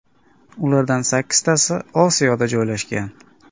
Ulardan sakkiztasi Osiyoda joylashgan.